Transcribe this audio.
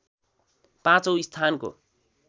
पाँचौं स्थानको